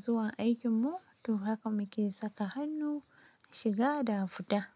zuwa aikinmu. To haka muke saka hannu shiga da fita.